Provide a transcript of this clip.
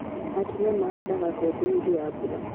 Atumia mahandaga mbembe hĩndĩ ya mbura